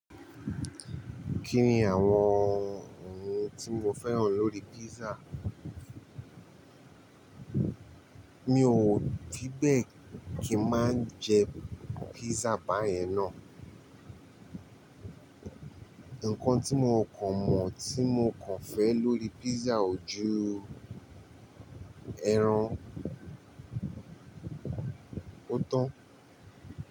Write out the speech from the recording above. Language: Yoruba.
Kí ni àwọn ohun tí mo fẹ́ràn lórí písà? Mi ò díbẹ̀ kí má jẹ písà báyẹn ná. Ǹkan tí mo kàn mọ̀ tí mo kàn fẹ́ lórí písà ojú ẹran. Ó tán.